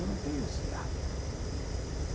Eu não tenho esse hábito.